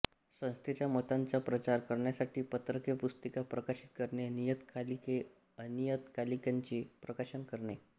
संस्थेच्या मतांचा प्रसार करण्यासाठी पत्रके पुस्तिका प्रकाशित करणे नियतकालिके अनियतकालिकांचे प्रकाशन करणे